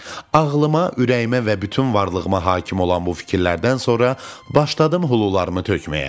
Ağlıma, ürəyimə və bütün varlığıma hakim olan bu fikirlərdən sonra başladım hulularımı tökməyə.